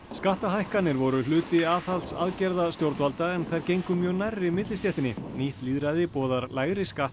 skattahækkanir voru hluti aðhaldsaðgerða stjórnvalda en þær gengu mjög nærri millistéttinni nýtt lýðræði boðar lægri skatta